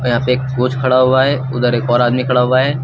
यहाँ पे एक कोच खड़ा हुआ है उधर एक और आदमी खड़ा हुआ है।